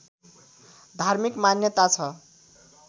धार्मिक मान्यता छ